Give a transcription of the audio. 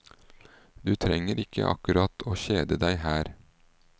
Du trenger ikke akkurat å kjede deg her.